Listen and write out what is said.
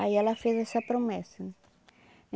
Aí ela fez essa promessa né.